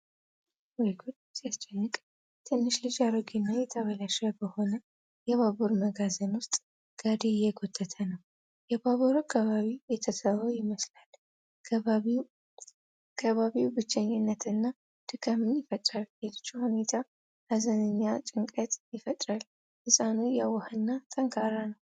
ወይ ጉድ ሲያስጨንቅ! ትንሽ ልጅ አሮጌና የተበላሸ በሆነ የባቡር መጋዘን ውስጥ ጋሪ እየጎተተ ነው። የባቡር አካሎቹ የተተዉ ይመስላሉ። ከባቢው ብቸኝነትንና ድካምን ይፈጥራል። የልጁ ሁኔታ ሀዘንና ጭንቀት ይፈጥራል። ህፃኑ የዋህና ጠንካራ ነው።